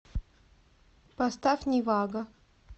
поставь нивага